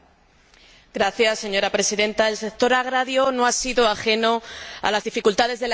Señora Presidenta, el sector agrario no ha sido ajeno a las dificultades de la economía en general.